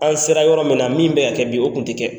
An sera yɔrɔ min na min bɛ ka kɛ bi o tun tɛ kɛ.